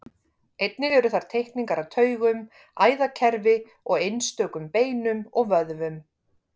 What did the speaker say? Einnig eru þar teikningar af taugum, æðakerfi og einstökum beinum og vöðvum.